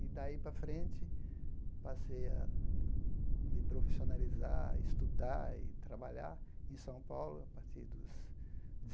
E daí para frente, passei a me profissionalizar, estudar e trabalhar em São Paulo, a partir dos